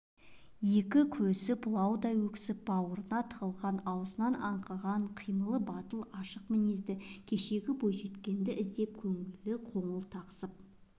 екі көз бұлаудай өксіп бауырына тығылған аузынан аңқыған қимылы батыл ашық мінезі кешегі бойжеткенді іздеп көңіл қоңылтақсып